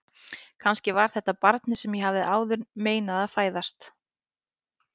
Kannski var þetta barnið sem ég hafði áður meinað að fæðast.